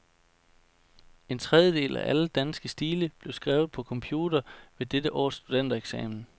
En tredjedel af alle danske stile blev skrevet på computer ved dette års studentereksamen.